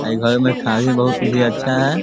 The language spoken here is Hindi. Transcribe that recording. अ ई घर में खाड़ी बहुत ही अच्छा है।